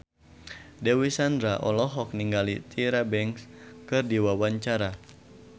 Dewi Sandra olohok ningali Tyra Banks keur diwawancara